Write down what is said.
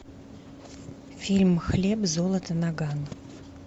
фильм хлеб золото наган